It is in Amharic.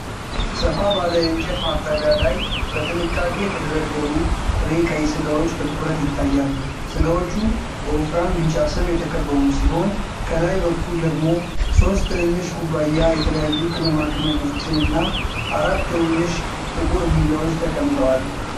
ሰፋ ባለ የእንጨት ማቅረቢያ ላይ በጥንቃቄ የተደረደሩ ጥሬ ቀይ ስጋዎች በትኩረት ይታያሉ። ስጋዎቹ በወፍራም ቢጫ ስብ የተከበቡ ሲሆን፣ ከላይ በኩል ደግሞ ሶስት ትንንሽ ኩባያ የተለያዩ ቅመማ ቅመሞችን እና አራት ትንንሽ ጥቁር ቢላዎች ተቀምጠዋል።